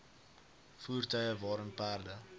voertuie waarin perde